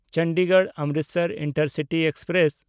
ᱪᱚᱱᱰᱤᱜᱚᱲ–ᱚᱢᱨᱤᱛᱥᱚᱨ intercity express